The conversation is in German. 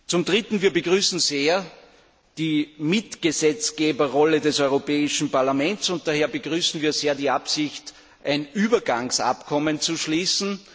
Zum Dritten begrüßen wir die Mitgesetzgeberrolle des Europäischen Parlaments, und daher begrüßen wir auch sehr die Absicht, ein Übergangsabkommen zu schließen.